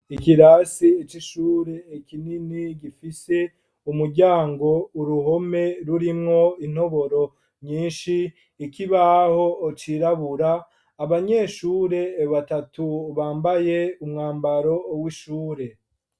Ikirase c'ishure kinini gifise umuryango , uruhome rurimwo intoboro nyinshi, ikibaho cirabura, abanyeshure batatu bambaye umwambaro w'ishure.